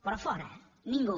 però fora ningú